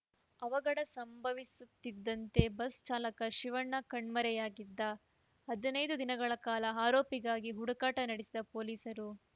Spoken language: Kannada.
ಅವಘಡ ಸಂಭವಿಸುತ್ತಿದ್ದಂತೆ ಬಸ್‌ ಚಾಲಕ ಶಿವಣ್ಣ ಕಣ್ಮರೆಯಾಗಿದ್ದ ಹದನೈದು ದಿನಗಳ ಕಾಲ ಆರೋಪಿಗಾಗಿ ಹುಡುಕಾಟ ನಡೆಸಿದ ಪೊಲೀಸರು